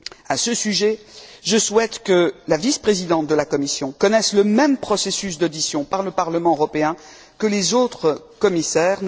À ce sujet, je souhaite que la vice présidente de la Commission connaisse le même processus d'audition par le Parlement européen que les autres commissaires.